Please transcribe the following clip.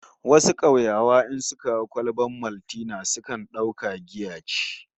Wasu kauyawa in suka ga kwalbar Maltina sukan dauka cewa giya ce